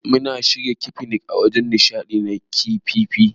Mun shirya fikinik a wajen nishadi na KFF.